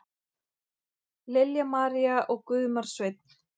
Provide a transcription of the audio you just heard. Lilja María og Guðmar Sveinn.